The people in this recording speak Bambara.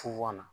na